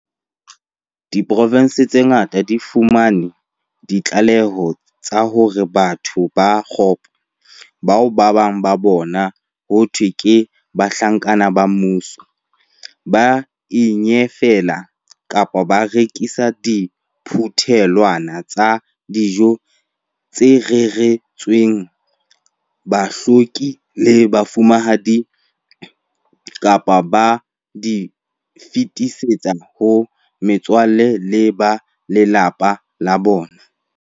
Diprovense tse ngata di fumane ditlaleho tsa hore batho ba kgopo, bao ba bang ba bona ho thweng ke bahlanka ba mmuso, ba a inyafela kapa ba rekisa diphuthelwana tsa dijo tse reretsweng bahloki le bafu-manehi, kapa ba di fetisetse ho metswalle le ba malapa a bona.